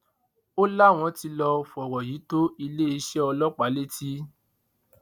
ó láwọn tí lọ fọ̀rọ̀ yìí tó iléeṣẹ́ ọlọ́pàá létí